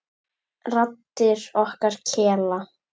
Raddir okkar kela.